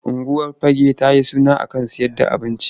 Unguwar Fagge ta yi suna a kan sayer da abinci.